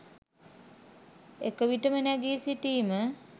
එක විටම නැගි සිටීම